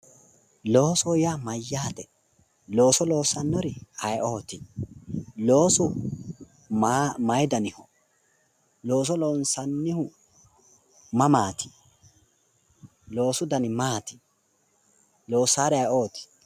Loosoho yaa mayyaate? looso loossannori ayeeooti? loosu maayi daniho? looso loonsannihu mamaati? loosu dani maati? loosaari ayeeooti?